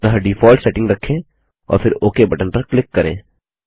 अतः default setting रखें और फिर ओक बटन पर क्लिक करें